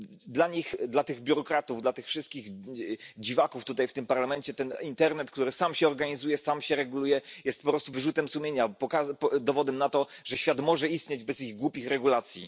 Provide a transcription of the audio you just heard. Dla nich, dla tych biurokratów, dla tych wszystkich dziwaków tutaj w Parlamencie internet, który sam się organizuje i sam się reguluje, jest po prostu wyrzutem sumienia, dowodem na to, że świat może istnieć bez ich głupich regulacji.